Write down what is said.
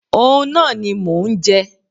Òun náà ni mò ń jẹ.